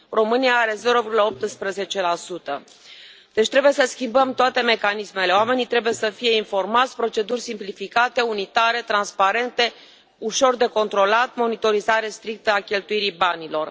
România are 0,18 Deci trebuie să schimbăm toate mecanismele oamenii trebuie să fie informați, proceduri simplificate, unitare, transparente, ușor de controlat, monitorizare strictă a cheltuirii banilor.